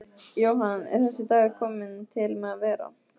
Jóhann: Er þessi dagur kominn til með að vera?